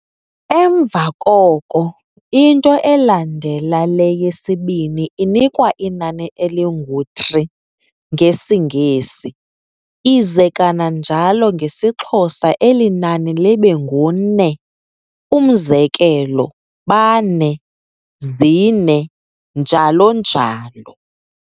Emva koko, into elandela le yesibini inikwa inani elingu'three' ngesiNgesi, ize kananjalo ngesiXhosa elinani libe ngu-ne, umzekelo bane, zine, njalo njalo.